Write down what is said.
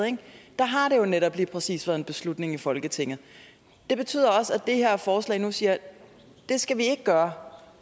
har det jo netop lige præcis været en beslutning i folketinget det betyder også at det her forslag siger at det skal vi ikke gøre